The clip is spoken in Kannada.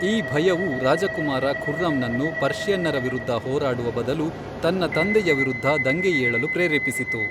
ಈ ಭಯವು ರಾಜಕುಮಾರ ಖುರ್ರಂನನ್ನು ಪರ್ಷಿಯನ್ನರ ವಿರುದ್ಧ ಹೋರಾಡುವ ಬದಲು ತನ್ನ ತಂದೆಯ ವಿರುದ್ಧ ದಂಗೆ ಏಳಲು ಪ್ರೇರೇಪಿಸಿತು.